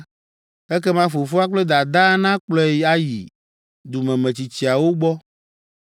ekema fofoa kple dadaa nakplɔe ayi dumemetsitsiawo gbɔ,